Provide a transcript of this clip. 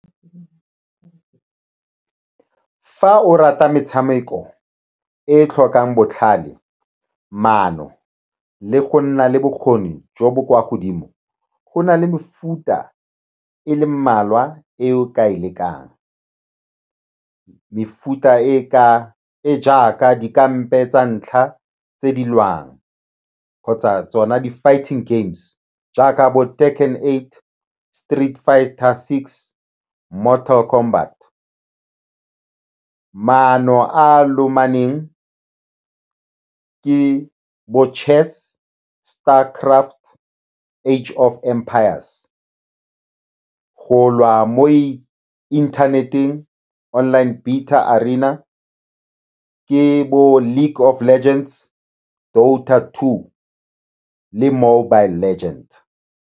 Fa o rata metshameko e e tlhokang botlhale, maano le go nna le bokgoni jo bo kwa godimo, go na le mefuta e le mmalwa e o ka e lekang. Mefuta e ka, e jaaka dikampa tsa ntlha tse di lwang kgotsa tsona di-fighting games jaaka bo Street Fighter six, Mortal Combat. Maano a a lomanyaneng ke bo-chess, Star Craft, H of Empires. Go lwa mo inthaneteng, online arena, ke bo-League of Legends, two le mobile legend.